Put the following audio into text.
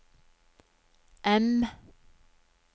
M